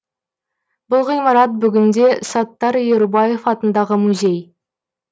бұл ғимарат бүгінде саттар ерубаев атындағы музей